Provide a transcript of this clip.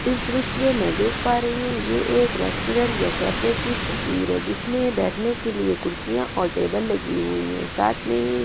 इस दृश्य में मैं देख पा रही हूं ये एक रेस्टोरेंट या कैफे की तस्वीर है जिसमें बैठने के लिए कुर्सियां और टेबल लगी हुई हैं साथ में --